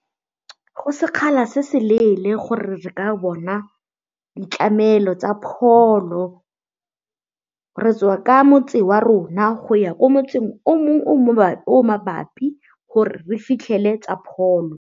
Go sekgala se se leele gore re ka bona ditlamelo tsa pholo, re tswa ka motse wa rona go ya ko motseng o mongwe o o mabapi gore re fitlhele tsa pholo.